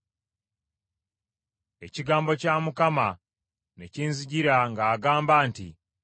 Ekigambo kya Mukama ne kinzijira ng’agamba nti,